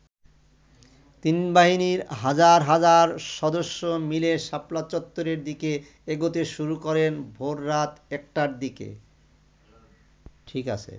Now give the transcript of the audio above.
তিন বাহিনীর হাজার হাজার সদস্য মিলে শাপলা চত্বরের দিকে এগোতে শুরু করেন ভোররাত একটার দিকে।